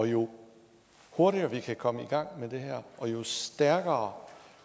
jo hurtigere vi kan komme i gang med det her og jo stærkere